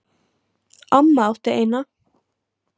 Amma átti eina.